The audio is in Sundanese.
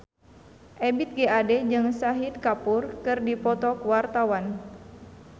Ebith G. Ade jeung Shahid Kapoor keur dipoto ku wartawan